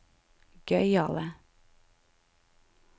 gøyale